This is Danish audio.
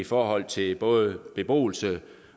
forhold til både beboelse